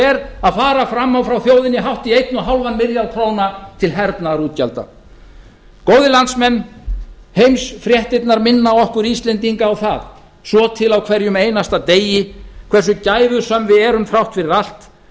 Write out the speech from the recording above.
er að fara fram á frá þjóðinni hátt í einn og hálfan milljarð króna til hernaðarútgjalda góðir landsmenn heimsfréttirnar minna okkur íslendinga á það svo til á hverjum einasta degi hversu gæfusöm við erum þrátt fyrir allt